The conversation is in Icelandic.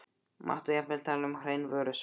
Mátti jafnvel tala um hrein vörusvik.